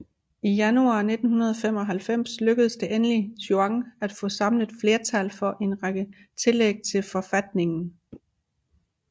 I januar 1995 lykkes det endelig Chuan at få samlet flertal for en række tillæg til forfatningen